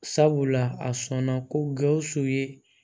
Sabula a sɔnna ko gawusu ye